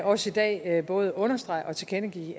også i dag både understrege og tilkendegive